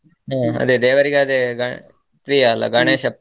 ಅದೇ ದೇವರಿಗೆ ಅದೇ ಗ~ ಪ್ರಿಯ ಅಲ್ಲ ಗಣೇಶ .